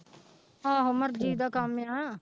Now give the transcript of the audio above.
ਆਹੋ ਮਰਜ਼ੀ ਦਾ ਕੰਮ ਆਂ।